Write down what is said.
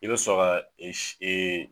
I bɛ son ka e si